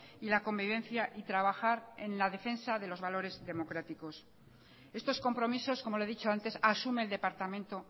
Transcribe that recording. y la convivencia y trabajar en la defensa de los valores democráticos estos compromisos como le he dicho antes asume el departamento